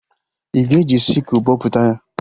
Ị ga-eji sịkụl bọpụta ya?